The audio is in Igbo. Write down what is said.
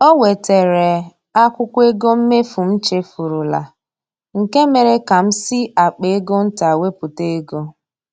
O wetere akwụkwọ ego mmefu m chefurula, nke mere ka m si akpa ego nta wepụta ego